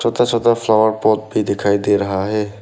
छोटा छोटा flower pot भी दिखाई दे रहा है।